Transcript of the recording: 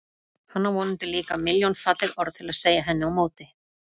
Hann á vonandi líka milljón falleg orð til að segja henni á móti.